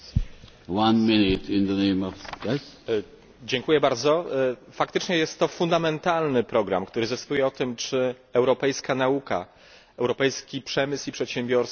Faktycznie jest to fundamentalny program, który zdecyduje o tym, czy europejska nauka, europejski przemysł i przedsiębiorstwa oraz europejscy naukowcy będą innowacyjni i mobilni.